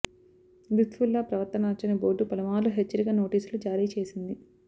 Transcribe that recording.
లుత్ఫుల్లా ప్రవర్తన నచ్చని బోర్డు పలుమార్లు హెచ్చరిక నోటీసులు జారీ చేసింది